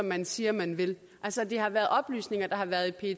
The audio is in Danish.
man siger man vil altså det er oplysninger der har været i